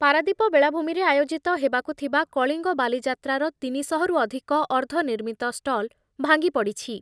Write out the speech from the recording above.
ପାରାଦ୍ଵୀପ ବେଳାଭୂମିରେ ଆୟୋଜିତ ହେବାକୁ ଥିବା କଳିଙ୍ଗ ବାଲିଯାତ୍ରାର ତିନିଶହରୁ ଅଧିକ ଅର୍ଦ୍ଧନିର୍ମିତ ଷ୍ଟଲ୍ ଭାଙ୍ଗି ପଡ଼ିଛି।